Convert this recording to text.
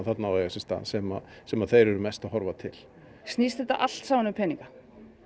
á að eiga sér stað sem sem þeir eru mest að horfa til snýst þetta allt saman um peninga